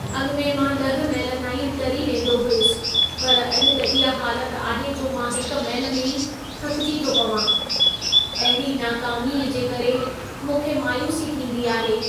अॻिमें मां 10 मैल ताईं तरी वेंदो हुससि, पर अॼु त इहा हालत आहे जो मां 1 मैल में ई थकिजी थो पवां। अहिड़ी नाकामीअ जे करे मूंखे मायूसी थींदी आहे।